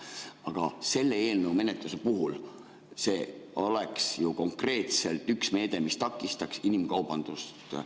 Aga see eelnõu oleks ju konkreetselt üks meede, mis takistaks inimkaubandust.